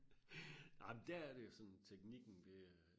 nej men det er det jo sådan teknikken det er